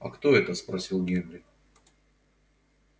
а кто это спросил генри